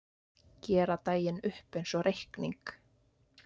Gera daginn upp einsog reikning.